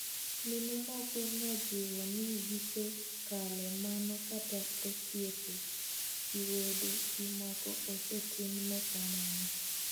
Mine moko nojiwo ni gisekalee mano kata osiepe gi wede gi moko osetimne kamano